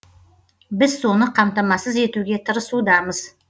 біз соны қамтамасыз етуге тырысудамыз